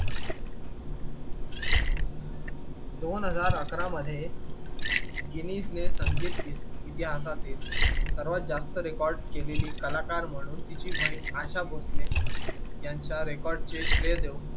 दोन हजार अकरा मध्ये गिनीस ने संगीत इतिहासातील सर्वात जास्त record केलेली कलाकार म्हणून तिची बहीण आशा भोसले यांच्या record चे श्रेय देऊन